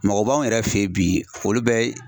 Mɔgɔ b'anw yɛrɛ fɛ yen bi olu bɛ